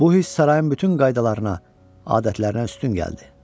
Bu hiss sarayın bütün qaydalarına, adətlərinə üstün gəldi.